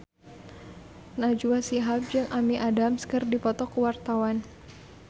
Najwa Shihab jeung Amy Adams keur dipoto ku wartawan